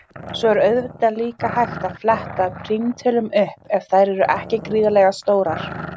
Svo er auðvitað líka hægt að fletta prímtölum upp ef þær eru ekki gríðarlega stórar.